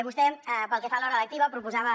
vostè pel que fa a l’hora lectiva proposava